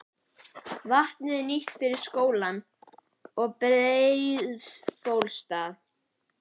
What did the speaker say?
Vatnið er nýtt fyrir skólann og Breiðabólsstað.